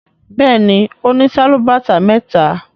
Béèni ọ ní Sálúbàtà méta.